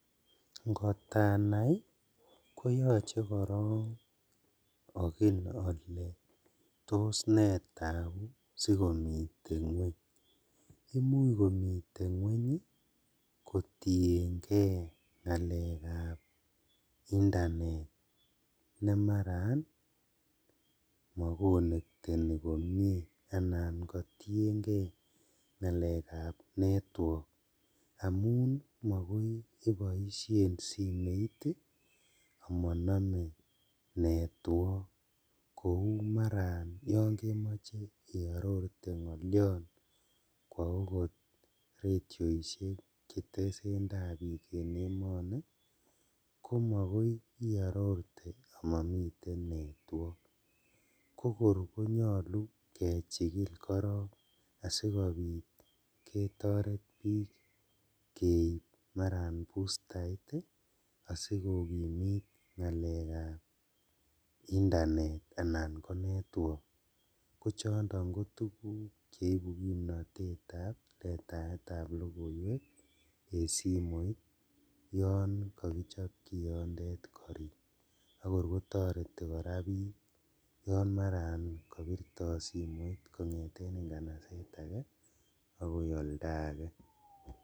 Ngotanai koyochei korok akil ale tos ne tabu siko mite ng'weny imuch komiten ng'weny kotienkei ng'alek ap internet nemaran makonekteni komie anan kotienkei ng'alek ap network amun makoi iboishen simoit amanomei network kou maran kemoche kearorte ngoliot kwo okot radioishek chetesetai biik en emoni komakoi iarorten amami network ko koer konyolu kechikili korok asikobit ketoret biik maran keip bustait asikokimit ng'alek ap internet anan ko network kochondo kotukuk cheibu kimnotet ap letaet ap lokoiwek eng simoit yon kakichop kiyonde akor koterei kora biik yon maran kobirtoi simoit kongeten kanaset ake akoi oldo age.